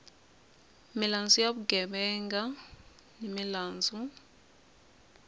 milandzu ya vugevenga ni milandzu